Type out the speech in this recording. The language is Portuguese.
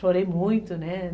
Chorei muito, né?